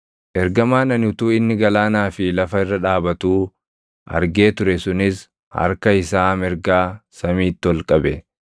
Ergamaan ani utuu inni galaanaa fi lafa irra dhaabatuu argee ture sunis harka isaa mirgaa samiitti ol qabe.